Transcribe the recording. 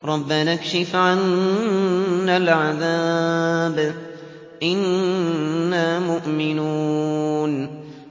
رَّبَّنَا اكْشِفْ عَنَّا الْعَذَابَ إِنَّا مُؤْمِنُونَ